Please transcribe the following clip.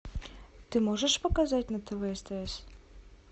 ты можешь показать на тв стс